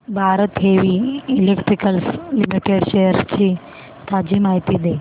Bharat heavy electricals limited shares ची ताजी माहिती दे